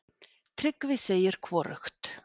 Tryggvi segir hvorugt.